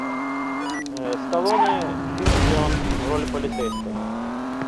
сталлоне фильм где он в роли полицейского